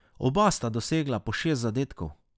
Oba sta dosegla po šest zadetkov.